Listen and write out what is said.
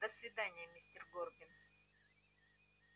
до свидания мистер горбин